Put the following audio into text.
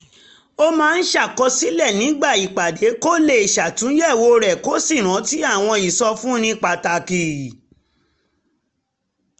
ó máa ń ṣàkọsílẹ̀ nígbà ìpàdé kó lè ṣàtúnyẹ̀wò rẹ̀ kó sì rántí àwọn ìsọfúnni pàtàkì